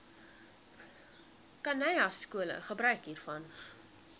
khanyaskole gebruik hiervan